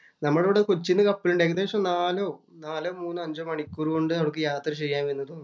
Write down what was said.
നമ്മടവിടെ കൊച്ചീന്ന് കപ്പലുണ്ട്. ഏകദേശം നാലോ, മൂന്നോ അഞ്ചോ മണിക്കൂര്‍ കൊണ്ട് നമുക്ക് യാത്ര ചെയ്യാമെന്ന് തോന്നുന്നു.